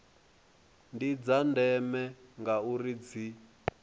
ndi dza ndeme ngauri dzi